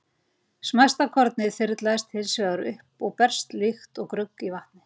Smæsta kornið þyrlast hins vegar upp og berst líkt og grugg í vatni.